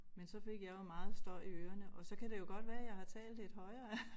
Men så fik jeg jo meget støj i ørerne og så kan det jo godt være jeg har talt lidt højere